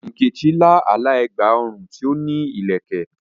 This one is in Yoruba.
Nkechi lá àlá ẹ̀gbà ọrùn tí ó ní ìlẹ̀kẹ̀.